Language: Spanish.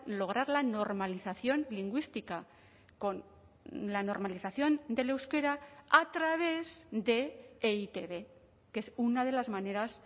lograr la normalización lingüística con la normalización del euskera a través de e i te be que es una de las maneras